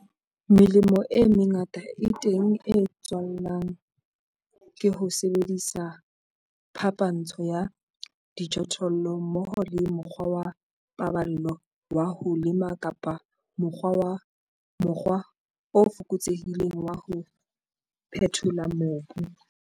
Melemo e mengata e teng e tswalwang ke ho sebedisa phapantsho ya dijothollo mmoho le mokgwa wa paballo wa ho lema kapa mokgwa o fokotsehileng wa ho phethola mobu.